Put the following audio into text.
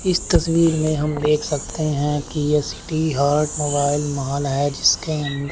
इस तस्वीर में हम देख सकते है कि यह सिटी हर्ट मोबाइल महल है जिसके अंड--